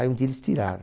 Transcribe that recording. Aí um dia eles tiraram.